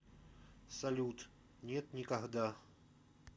салют нет никогда